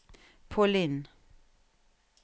Pauline